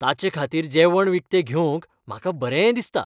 ताचेखातीर जेवण विकतें घेवंक म्हाका बरें दिसता.